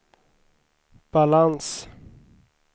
balans